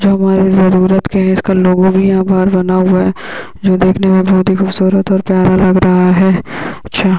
जो हमारे जरूरत के है इसका लोगो भी यहां घर बना हुआ हैं यहाँ देखने में बहोत ही खूबसूरत और प्यारा लग रहा हैं अच्छा--